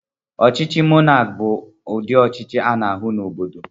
Ọchịchị monakị bụ ụdị ọchịchị ana-ahụ n'obodo.